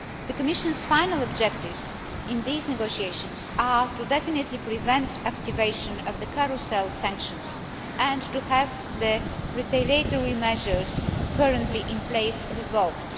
The Commission's final objectives in these negotiations are to definitively prevent activation of the Carousel' sanctions and to have the retaliatory measures currently in place revoked.